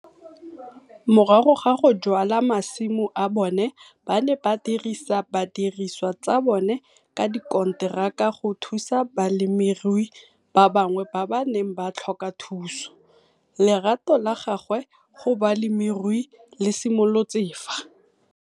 Morago ga go jwala masimo a bone ba ne ba dirisa didiriswa tsa bone ka dikonteraka go thusa balemirui ba bangwe ba ba neng ba tlhoka thuso. Lerato la gagwe go bolemirui le simolotse fa.